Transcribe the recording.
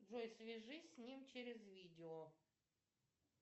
джой свяжись с ним через видео